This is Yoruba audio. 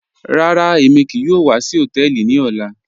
Rárá, èmi kíì yòò wà sí họ̀tẹ̀ẹlì ní ọ̀là.